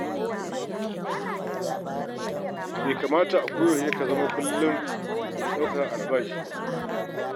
Bai kamata a koyaushe ka zama kullum mai dakon albashi ba.